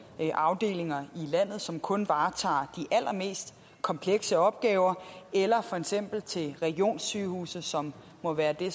afdelinger i landet som kun varetager de allermest komplekse opgaver eller for eksempel til regionssygehuse som må være det